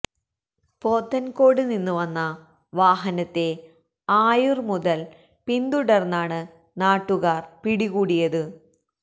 പോത്തൻകോട് നിന്ന് വന്ന വാഹനത്തെ ആയൂർ മുതൽ പിന്തുടർന്നാണ് നാട്ടുകാരാണ് പിടികൂടിയത്